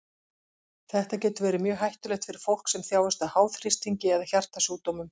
Þetta getur verið mjög hættulegt fyrir fólk sem þjáist af háþrýstingi eða hjartasjúkdómum.